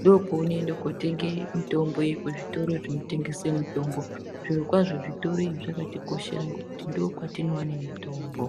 ndopeunoende kunotenge mitombo iyi kuzvitoro zvinotengese mitombo zvirokwazvo zvitoro izvi zvakatikoshera ngekuti ndo kwatinoone mitombo.